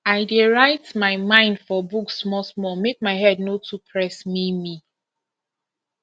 i dey write my mind for book smallsmall make my head no too press me me